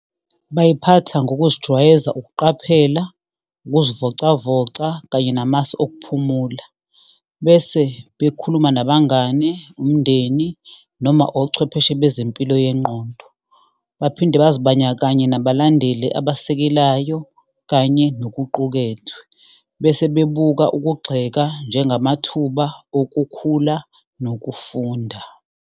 Bayiphatha ngokuzijwayeza ukuqaphela, ukuzivocavoca, kanye namasu okuphumula, bese bekhuluma nabangani, umndeni noma ochwepheshe bezempilo yengqondo. Baphinde bazibanakanye nabalandeli abasekelayo kanye nokuqukethwe, bese bebuka ukugxeka, njengamathuba okukhula nokufunda.